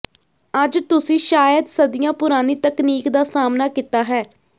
ਅੱਜ ਤੁਸੀਂ ਸ਼ਾਇਦ ਸਦੀਆਂ ਪੁਰਾਣੀ ਤਕਨੀਕ ਦਾ ਸਾਹਮਣਾ ਕੀਤਾ ਹੈ